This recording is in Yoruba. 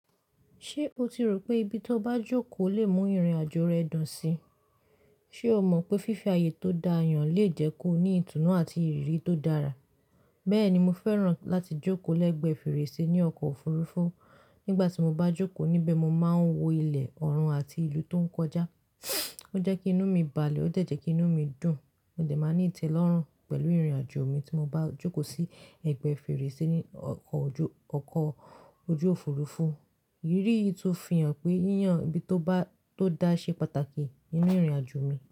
Ṣé o ti rò pé ibi tó bá jókòó lè mú ìrìnàjò rẹ dùn síi? Ṣé o mọ̀ pé fífi ààyè tó dáa yàn lè jẹ́ kó ní ìtùnú àti ìrírí tó dára? Bẹ́ẹ̀ni, mo fẹ́ràn láti jókòó lẹ́gbẹ̀ẹ́ fèrèsé ní ọkọ̀ òfurufú. Nígbà tí mo bá jókòó níbẹ̀, mo máa ń wo ilẹ̀, ọ̀run àti ìlú tó ń kọjá. O jẹ́ kí inú mi bàlẹ̀, ó dẹ́ jẹ́ kí inú mi dùn. Mo dè máa ní ìtẹ́lọ́rùn pẹ̀lú ìrìnàjò mi tí mo bá jókòó sí ẹ̀gbẹ́ fèrèsé ní ọkọ̀ ojú òfurufú. Ìrírí yìí tun fi hàn pé yíyan ibi tó dáa ṣe pàtàkì nínú ìrìnàjò mi.